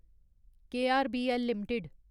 KRBL limited